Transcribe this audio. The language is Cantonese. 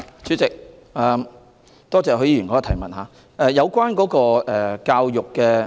主席，多謝許議員的補充質詢。